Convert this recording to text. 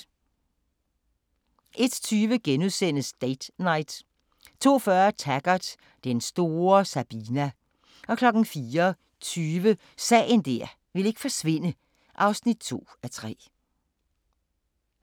01:20: Date Night * 02:40: Taggart: Den store Sabina 04:20: Sagen der ikke ville forsvinde (2:3)